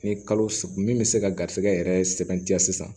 Ni kalo min bɛ se ka garisigɛ yɛrɛ sɛbɛntiya sisan